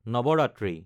Navratri